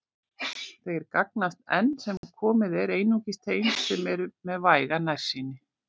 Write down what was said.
Þeir gagnast enn sem komið er einungis þeim sem eru með væga nærsýni.